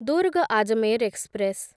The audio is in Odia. ଦୁର୍ଗ ଆଜମେର ଏକ୍ସପ୍ରେସ୍